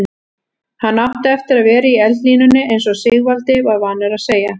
Hann átti eftir að vera í eldlínunni eins og Sigvaldi var vanur að segja.